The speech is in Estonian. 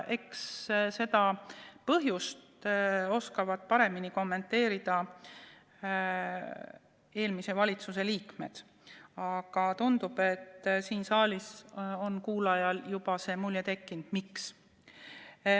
Eks põhjust oskavad paremini kommenteerida eelmise valitsuse liikmed, aga tundub, et siin saalis on kuulajatel juba tekkinud mulje, miks.